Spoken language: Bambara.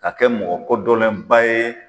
Ka kɛ mɔkɔ kodɔnnenba ye